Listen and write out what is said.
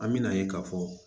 An bɛna ye k'a fɔ